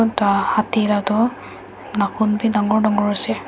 hatti la tuh nakhun bhi dangor dangor ase.